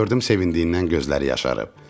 Gördüm sevindiydindən gözləri yaşarıb.